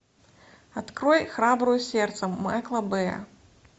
открой храбрую сердцем майкла бэя